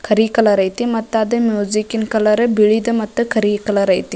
ಕರಿ colour ಐತಿ ಮತ್ತೆ ಅದೇ ಮ್ಯೂಸಿಕ್ಕಿ ನ್ ಕಲರ್ ಬಿಳಿದ ಮತ್ತ ಕರಿ ಕಲರ್ ಐತಿ.